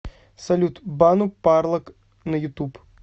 салют бану парлак на ютуб